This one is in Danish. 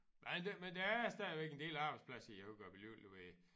Men der men der er stadigvæk en del arbejdsplads i Hurup jo ude jo ved